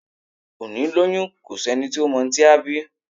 Òní lọyún, ko sí ení tọ mọ ohún tí á bí